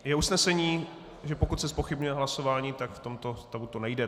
Je usnesení, že pokud se zpochybňuje hlasování, tak v tomto stavu to nejde.